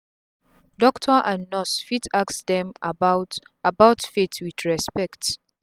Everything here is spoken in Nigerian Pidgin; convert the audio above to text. doctor and nurse fit ask dem about about faith with respect